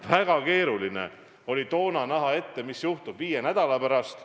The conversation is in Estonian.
Väga keeruline oli toona näha ette, mis juhtub viie nädala pärast.